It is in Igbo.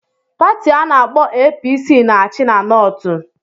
Pati ana-akpo APC na-achị na Nortu.